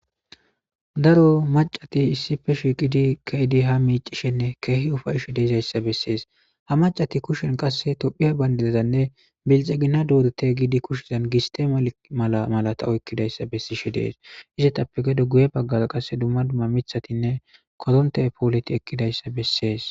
daro macati issife shiqidi keyidi ha miicishenne keehi ufayishe deezayssa bessees ha macati kushen qasse tophiya bayndidazanne bilxegina doorete giidi kushizan gistemal mala malata oykkidayssa bessishe dees izetappe gedo guye baggara qasse dumma dumma mithatinne kodonte pooleti ekkidayssa bessees.